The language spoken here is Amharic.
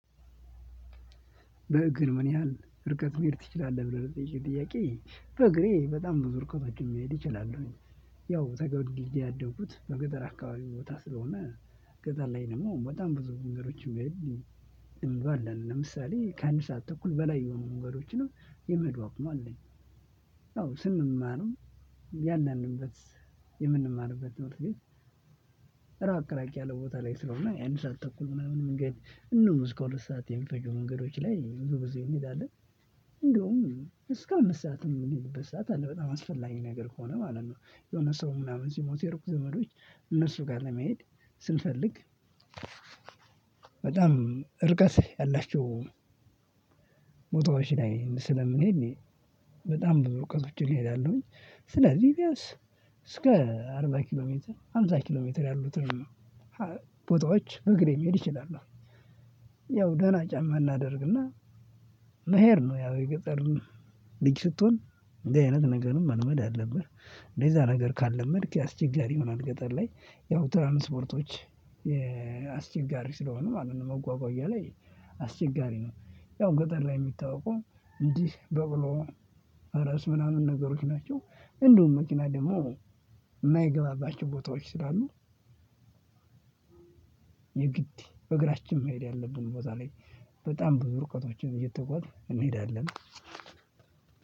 በእግር ምን ያህል ርቀት መሄድ ትችላለህ ብለህ ለጠየከኝ ጥያቄ በእግሬ በጣም ብዙ እርቀቶችን መሄድ እችላለሁኝ። ያው ተወልጄ ያደኩት በገጠር አካባቢ ቦታ ስለሆነ ገጠር ላይ ደግሞ በጣም ብዙ መንገዶችን። እንባላለን ለምሳሌ ከአንድ ሰዓት ተኩል በላይ የሆኑ መንገዶችን የመሂውድ አቅሙ አለኝ። ያው ስንማርም እያንዳዱ የምንማርበት ትምህርት ቤት። ራቅ ራቅ ያለ ቦታ ላይ ስለሆነ የአንድ ሰዓት ተኩል ምናምን መንገድ እንደውም እስከ ሁለት ሰዓት የሚፈጁ መንገዶች ላይ ብዙ ብዙ እንሄዳለን። እንደውም እስከ አምስት ሰዓት የምንሄድበት ሰዓት አለ በጣም አስፈላጊ ነገር ከሆነ ማለት ነው። የሆነ ሰው ምናምን ሲሞት የሩቅ ዘመዶች እነሱ ጋር ለመሄድ ስንፈልግ። በጣም እርቀት ያላቸው ቦታዎች ላይ ስልምንሄድ በጣም ብዙ እርቀቶችን እሄዳለሁኝ። ስለዚህ እስከ አርባ ኪሎሜትር ሃምሳ ኪሎሜትር ያሉትን ቦታዎች በእግሬ መሄድ እችላለው። ያው ደህና ጫማ እናደርግና መሄድ ነው። ያው የገጠር ልጅ ስትሆን እንደዚህ አይነት ነገርም መልመድ አለብህ እንደዛ ነገር ካለመድክ አስቸጋሪ ይሆናል። ገጠር ላይ ያው ትራንስፖርቶች አስቸጋሪ ስለሆነ ማለት ነው። መጓጓዣ ላይ አስቸጋሪ ነው። ያው ገጠር ላይ የሚታወቀው እንዲህ በቅሎ ፈረስ ምናምን ነገሮች ናቸው። እንዲውም መኪና ደግሞ የማይገባባችው ቦታዎች ስላሉ። የግድ በእግራችን መሄድ ያለብን ቦታ ላይ በጣም ብዙ ርቀቶችን እየተጓዝን እንሄዳለን።